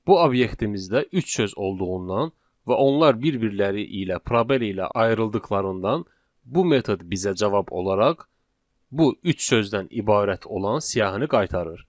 Bu obyektimizdə üç söz olduğundan və onlar bir-birləri ilə probel ilə ayrıldıqlarından bu metod bizə cavab olaraq bu üç sözdən ibarət olan siyahını qaytarır.